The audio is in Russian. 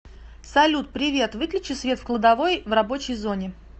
салют привет выключи свет в кладовой в рабочей зоне